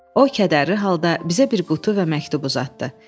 O kədərli halda bizə bir qutu və məktub uzatdı.